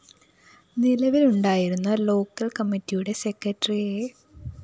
നിലവിലുണ്ടായിരുന്ന local‍ കമ്മറിയുടെ secretary A